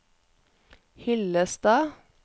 Hyllestad